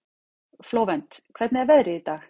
Flóvent, hvernig er veðrið í dag?